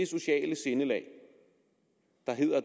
sociale sindelag